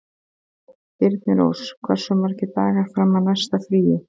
Þyrnirós, hversu margir dagar fram að næsta fríi?